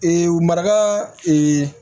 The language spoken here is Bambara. maraka